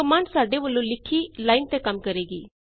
ਹੁਣ ਕਮਾੰਡ ਸਾਡੇ ਵੱਲੋਂ ਲਿਖੀ ਲਾਈਨ ਤੇ ਕੰਮ ਕਰੇਗੀ